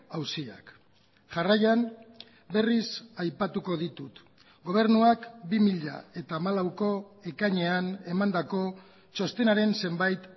auziak jarraian berriz aipatuko ditut gobernuak bi mila hamalauko ekainean emandako txostenaren zenbait